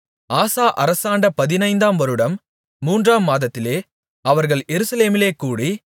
ஆசா அரசாண்ட பதினைந்தாம் வருடம் மூன்றாம் மாதத்திலே அவர்கள் எருசலேமிலே கூடி